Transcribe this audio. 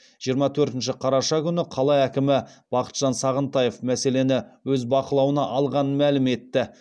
жиырма төртінші қараша күні қала әкімі бақытжан сағынтаев мәселені өз бақылауына алғанын мәлім етті